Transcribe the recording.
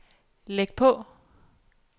læg på